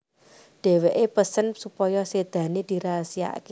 Dheweké pesen supaya sedane dirahasiakake